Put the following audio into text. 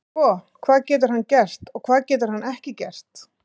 Sko, hvað getur hann gert og hvað getur hann ekki gert?